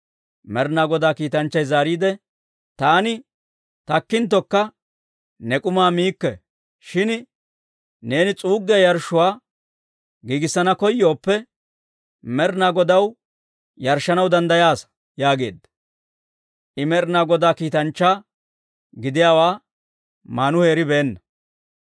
Med'inaa Godaa kiitanchchay zaariide, «Taani takkinttokka, ne k'umaa miikke. Shin neeni s'uuggiyaa yarshshuwaa giigissana koyooppe, Med'inaa Godaw yarshshanaw danddayaasa» yaageedda. I Med'inaa Godaa kiitanchchaa gidiyaawaa Maanuhe eribeenna.